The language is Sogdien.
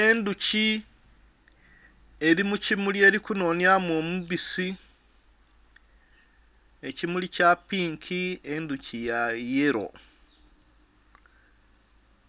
Endhuki eri mukimuli erikunhonhya mu omubisi ekimuli kyapinki endhuki yayelo